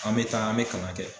An mɛ taa an mɛ kalan kɛ.